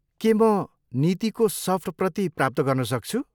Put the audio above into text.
के म नीतिको सफ्ट प्रति प्राप्त गर्न सक्छु?